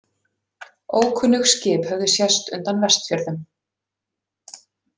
Ókunnug skip höfðu sést undan Vestfjörðum.